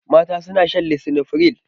Mata suna shan lisinopril.